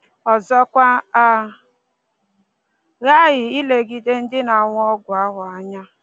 Ọzọkwa, a ghaghị ilegide ndị na-aṅụ ọgwụ ahụ anya